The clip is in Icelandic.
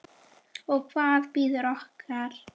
Og hvað bíður okkar?